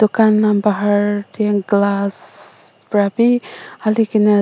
glass para bi halikene a.